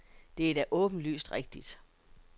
Det er da åbenlyst rigtigt.